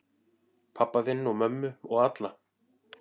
Pabba þinn og mömmu og alla.